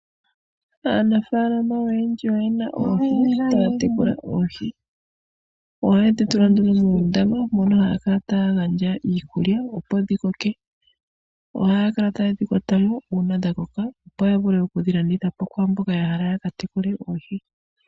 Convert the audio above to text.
Aanafaalama oyendji oye na oohi taya tekula oohi. Ohaye dhi tula muundama mono haya kala taya gandja iikulya, opo dhi koke. Ohaya kala taye dhi kwata mo uuna dha koka opo ya vule oku dhi landitha po kwaa mboka hala ya ka tekule oohi.